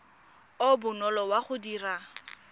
o bonolo wa go dira